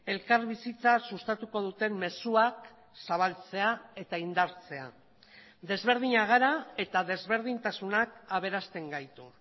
elkarbizitza sustatuko duten mezuak zabaltzea eta indartzea desberdinak gara eta desberdintasunak aberasten gaitu